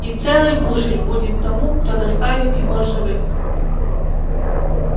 и целый бушель будет тому кто доставит его живым